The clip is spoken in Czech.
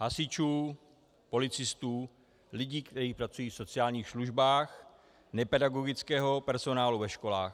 Hasičů, policistů, lidí, kteří pracují v sociálních službách, nepedagogického personálu ve školách.